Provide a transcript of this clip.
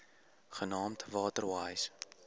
genaamd water wise